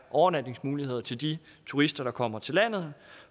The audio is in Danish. overnatningsmuligheder til de turister der kommer til landet